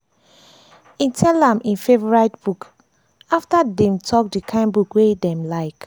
e tell am im favourite book after dem talk di kain book wey dem like